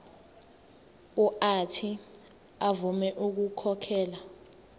uuthi avume ukukhokhela